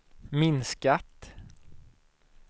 minskat